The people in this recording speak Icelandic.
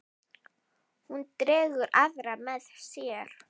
Hún dregur aðra með sér.